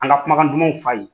An ka kumakan dumanw f'a ye.